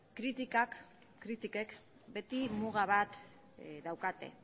kritikek beti muga bat daukate